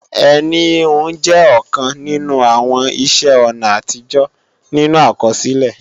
Ẹní híhun jẹ́ ọ̀kan nínú àwọn iṣẹ́-ọ̀nà àtijọ́ nínú àkọsílẹ̀